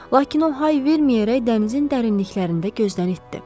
Lakin o hay verməyərək dənizin dərinliklərində gözdən itdi.